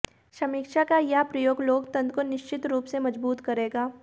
समीक्षा का यह प्रयोग लोकतंत्र को निश्चित रूप से मजबूत करेगा